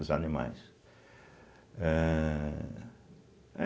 Os animais. ãh